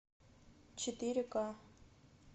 четыре ка